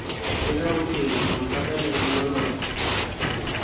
leka botshelo mathata lenyalo lona